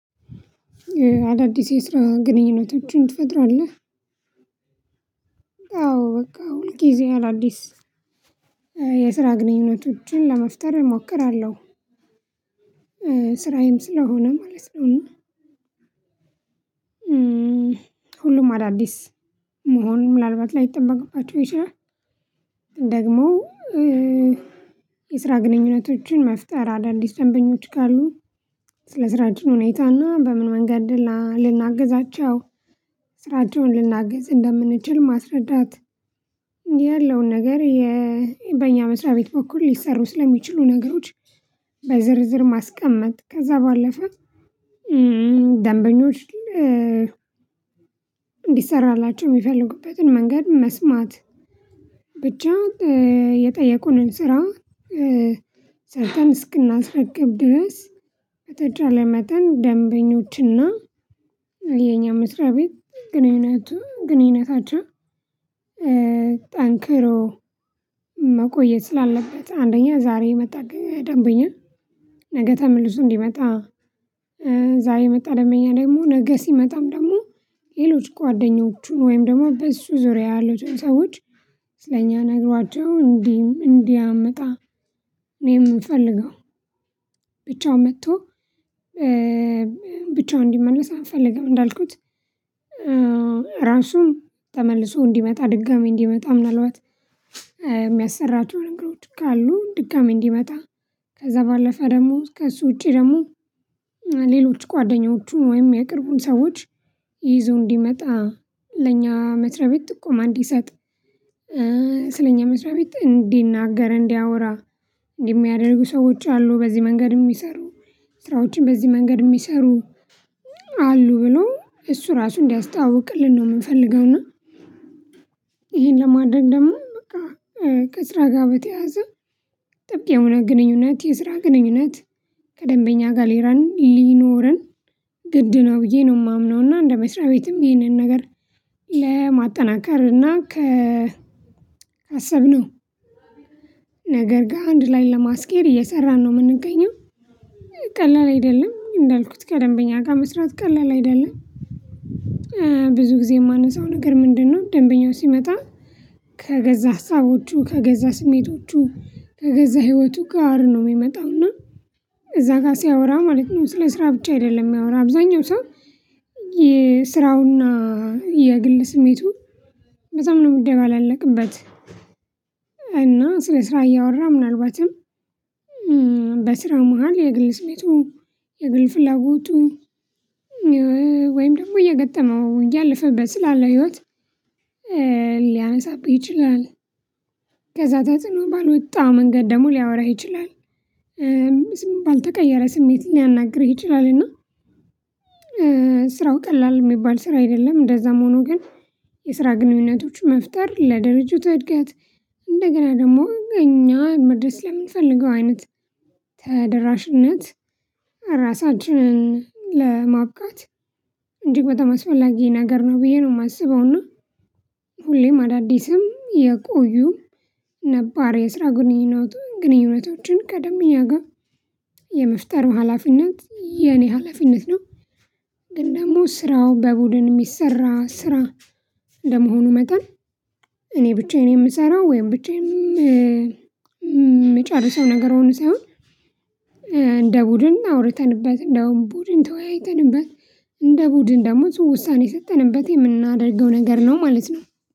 አዳዲስ የስራ ግንኙነቶችን ትፈጥራለህ? አዎ በቃ ሁልጊዜ አዳዲስ የስራ ግንኙነቶችን ለመፍጠር እሞክራለሁ ስራዬም ስለሆነ ማለት ነው። ሁሉም አዳዲስ መሆኑን ምናልባት ላይጠበቅባቸው ይችላል። ደግሞ የስራ ግንኙነቶችን መፍጠር አዳዲስ ደንበኞች ካሉ ስለ ስራችን ሁኔታና በምን መንገድ ልናግዛቸው ስራቸውን ልናግዝ እንደምንችል ማስረዳት ያለውን ነገር በኛ መስሪያ ቤት በኩል ሊሰሩ ስለሚችሉ ነገሮች። በዝርዝር ማስቀመጥ ከዛ ባለፈ ደንበኞች እንዲሰራላቸው ሚፈልጉበትን መንገድ መስማት። ብቻ የጠየቁንን ስራ ሰርተን እስክናስረግብ ድረስ በተቻለ መጠን ደንበኞችና የኛ መስርያቤት ግንኙነት ግንኙነታቸው። ጠንክሮ መቆየት ስላለበት አንደኛ ዛሬ የመጣ ደንብኛ ነገ ተመልሶ እንዲመጣ። ዛሬ የመጣ ደመበኛ ደግሞ ነገ ሲመጣም ደግሞ ሌሎች ጓደኞቹን ወይም ደግሞ በእሱ ዙሪያ ያሉትን ሰዎች። ስለኛ ነግሯቸው እንዲህ እንዲያምጣ እኔ ምፈልገው ብቻው መጥቶ ብቻውን እንዲመለስ አንፈልግም። እንዳልኩት ራሱን ተመልሶ እንዲመጣ ድጋሚ እንዲመጣ ምናልባት የሚያሰራቸው ነገሮች ካሉ ድካም እንዲመጣ። ከዛ ባለፈ ደግሞ ከእሱ ውጪ ደግሞ ሌሎች ጓደኞቹ ወይም የቅርቡን ሰዎች ይዞ እንዲመጣ ለኛ መስሪያ ቤት ጥቆማ እንዲሰጥ። ስለኛ መስሪያ ቤት እንዲናገር እንዲያወራ የሚያደርጉ ሰዎች አሉ በዚህ መንገድ? ሚሰሩ ስራዎችን በዚህ መንገድ ሚሰሩ አሉ ብሎ እሱ ራሱ እንዲያስታውቅልን ነው ምንፈልገውና። ይሄን ለማድረግ ደግሞ በቃ ከስራ ጋር በተያዘ ጥብቅ የሆነ ግንኙነት የስራ ግንኙነት ከደንበኛ ጋር ሊኖረን ግድ ነው ብዬ ነው የማምነው። እና እንደ መስሪያ ቤትም ይሄንን ነገር ለማጠናከር እና ከ አሰብነው ነገር ግን አንድ ላይ ለማስኬድ እየሰራን ነው የምንገኘው። ቀለል አይደለም እንዳልኩት ከደንበኛ ጋር መስራት ቀለል አይደለም። ብዙ ጊዜ የማነሳው ነገር ምንድነው? ደንበኛው ሲመጣ ከገዛ ሀሳቦቹ ከገዛ ስሜቶቹ ከገዛ ህይወቱ ጋር ነው የሚመጣው እና እዛ ጋር ሲያወራ ማለት ነው። ስለ ስራ ብቻ አይደለም ሚያወራ አብዛኛው ሰው የስራውና የግል ስሜቱ በጣም ነው የሚደጋገልበት። እና ስለ ስራ እያወራ ምናልባትም በስራ መሃል የግል ስሜቱ የግል ፍላጓቱ ወይም ደግሞ እየገጠመው እያለፈበት ስላለ ህይወት ሊያነሳብህ ይችላል። ከዛ ተጽኖ ባልወጣ መንገድ ደግሞ ሊያወራህ ይችላል። ባልተቀየረ ስሜት ሊያናግርህ ይችላልና ስራው ቀላል የሚባል ስራ አይደለም። እንደዛም ሆኖ ግን የስራ ግንኙነቶች መፍጠር ለድርጅቱ እድገት እንደገና ደግሞ እኛ መድረስ ለምንፈልገው አይነት ተደራሽነት ራሳችንን ለማብቃት እንዲህ በተማስፈላጊ ነገር ነው ብዬ ነው የማስበው። እና ሁሌም አዳዲስም የቆዩ ነባር የስራ ግንኙነቱን ግንኙነቶችን ቀደም እኛ ጋር የመፍጠር ሀላፊነት የኔ ሀላፊነት ነው። ግን ደግሞ ስራው በቡድን የሚሰራ ስራ እንደመሆኑ መጣን እኔ ብቻ እኔ የምሰራው ወይም ብቻ የምጨርሰው ነገር ሆኖ ሳይሆን እንደ ቡድን አውርተንበት እንደውም ቡድን ተወያይተንበት እንደ ቡድን ደሞዝ ውሳኔ የሰጠንበት የምናደርገው ነገር ነው። ማለት ነው።